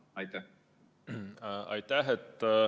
Aitäh!